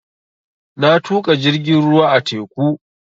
Na tuƙa jirgin ruwa a teku